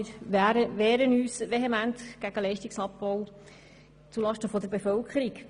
Wir wehren uns vehement gegen den Leistungsabbau zulasten der Bevölkerung.